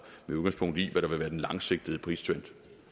med udgangspunkt i hvad der vil være den langsigtede pristrend